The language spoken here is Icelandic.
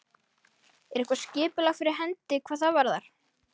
Er eitthvað skipulagt, skipulag fyrir hendi hvað það varðar?